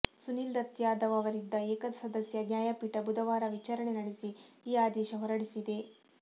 ಸುನಿಲ್ ದತ್ ಯಾದವ್ ಅವರಿದ್ದ ಏಕಸದಸ್ಯ ನ್ಯಾಯಪೀಠ ಬುಧವಾರ ವಿಚಾರಣೆ ನಡೆಸಿ ಈ ಆದೇಶ ಹೊರಡಿಸಿದೆ